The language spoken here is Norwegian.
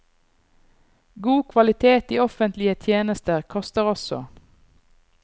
God kvalitet i offentlige tjenester koster også.